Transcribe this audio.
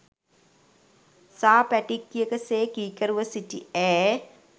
සා පැටික්කියක සේ කීකරුව සිටි ඈ